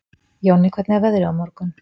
Jonni, hvernig er veðrið á morgun?